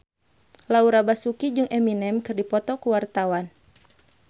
Laura Basuki jeung Eminem keur dipoto ku wartawan